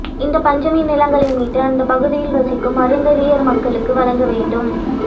இந்த பஞ்சமி நிலங்களை மீட்டு அந்தப் பகுதியில் வசிக்கும் அருந்ததியா் மக்களுக்கு வழங்க வேண்டும்